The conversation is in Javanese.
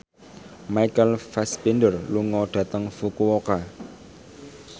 Michael Fassbender lunga dhateng Fukuoka